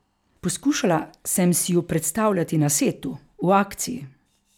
Poskušala sem si ju predstavljati na setu, v akciji.